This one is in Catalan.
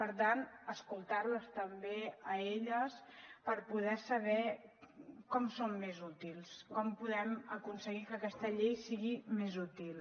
per tant escoltar les també a elles per poder saber com són més útils com podem aconseguir que aquesta llei sigui més útil